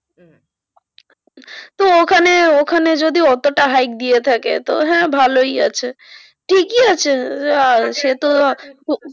তো ওখানে ওখানে যদি অতোটা hike দিয়ে থাকে তো হ্যাঁ ভালোই আছে ঠিকই আছে